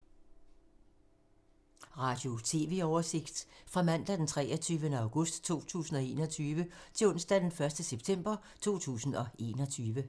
Radio/TV oversigt fra mandag d. 23. august 2021 til onsdag d. 1. september 2021